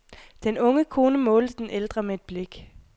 Den unge kone målte den ældre med et blik.